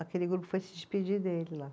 Aquele grupo foi se despedir dele lá.